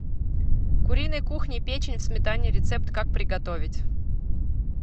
куриной кухни печень в сметане рецепт как приготовить